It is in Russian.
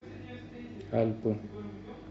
альпы